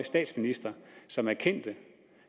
statsminister som erkendte at